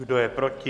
Kdo je proti?